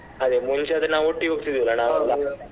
ಅದೇ ಮುಂಚೆ ಆದ್ರೆ ನಾವ್ ಒಟ್ಟಿಗೆ ಹೋಗ್ತಿದ್ವಿ ಅಲ್ಲ .